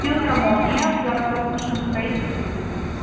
филармония городок машиностроителей сто десять